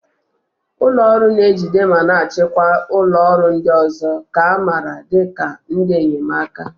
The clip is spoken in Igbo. Ụlọ ọrụ na-ejide ma na-achịkwa ụlọ ọrụ ndị ọzọ, nke a maara dị ka ndị enyemaka.